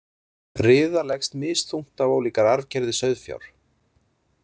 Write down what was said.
Riða leggst misþungt á ólíkar arfgerðir sauðfjár.